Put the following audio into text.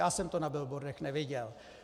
Já jsem to na billboardech neviděl.